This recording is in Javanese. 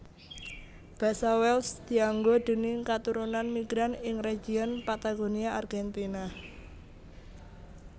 Basa Welsh dianggo déning katurunan migran ing region Patagonia Argentina